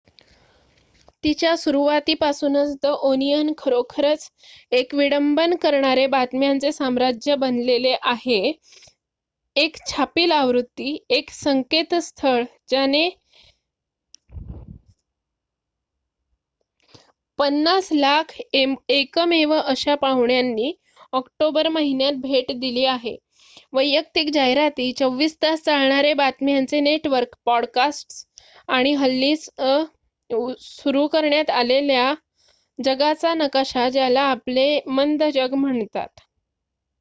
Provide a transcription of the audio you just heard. तिच्या सुरुवातीपासूनच the Onion खरोखरच एक विडंबन करणारे बातम्यांचे साम्राज्य बनलेले आहे एक छापील आवृत्ती एक संकेतस्थळ ज्याने 5,000,000 एकमेव अशा पाहुण्यांनी ऑक्टोबर महिन्यात भेट दिली आहे वैयक्तिक जाहिराती 24 तास चालणारे बातम्यांचे नेटवर्क पॉडकास्टस आणि हल्लीच सुरू करण्यात आलेला जगाचा नकाशा ज्याला आपले मंद जग म्हणतात